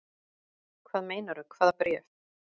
Hvað meinarðu. hvaða bréf?